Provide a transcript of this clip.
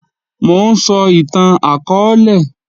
Mò ń sọ ìtàn akọọ́lẹ̀